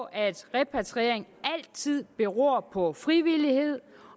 at repatriering altid beror på frivillighed